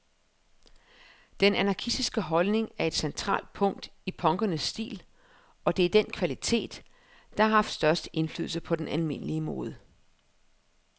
Den anarkistiske holdning er et centralt punkt i punkernes stil, og det er den kvalitet, der har haft størst indflydelse på den almindelige mode.